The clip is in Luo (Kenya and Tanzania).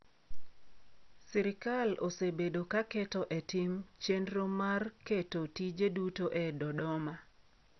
Sirikal osebedo ka keto e tim chenro mar keto tije duto e Dodoma.